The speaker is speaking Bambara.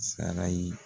Sara ye